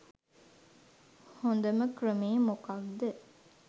හොඳම ක්‍රමේ මොකද්ද